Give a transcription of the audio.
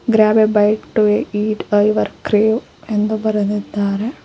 Grab a bite eat your crave ಎಂದು ಬರೆದಿದ್ದಾರೆ.